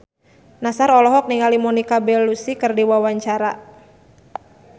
Nassar olohok ningali Monica Belluci keur diwawancara